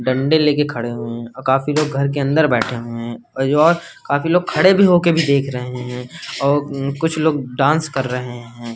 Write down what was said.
डंडे लेके खड़े हुए हैं और काफी लोग घर के अंदर बैठे हुए हैं और जो और काफी लोग खड़े भी होके भी देख रहे हैं और कुछ लोग डांस कर रहे हैं।